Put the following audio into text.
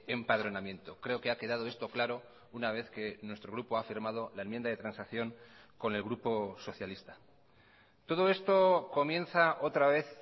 empadronamiento creo que ha quedado esto claro una vez que nuestro grupo ha firmado la enmienda de transacción con el grupo socialista todo esto comienza otra vez